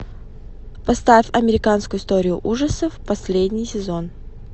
поставь американскую историю ужасов последний сезон